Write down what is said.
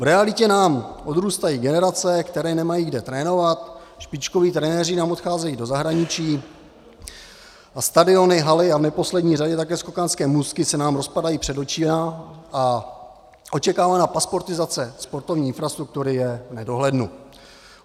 V realitě nám odrůstají generace, které nemají kde trénovat, špičkoví trenéři nám odcházejí do zahraničí a stadiony, haly a v neposlední řadě také skokanské můstky se nám rozpadají před očima a očekávaná pasportizace sportovní infrastruktury je v nedohlednu.